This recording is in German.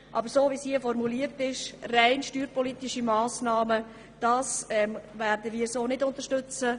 Aber so, wie der Vorstoss hier formuliert ist, mit rein steuerpolitischen Massnahmen, können wir ihn nicht unterstützen.